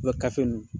U bɛ gafe ninnu